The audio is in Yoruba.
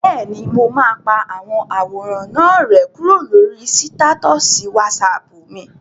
Bẹ́ẹ̀ni, mo máa pa àwọn àwòrán náà rẹ́ kúrò lórí sítátọ̀sì wásaàpù mi